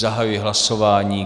Zahajuji hlasování.